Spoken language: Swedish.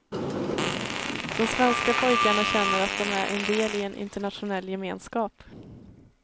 De svenska pojkarna känner att de är en del i en internationell gemenskap.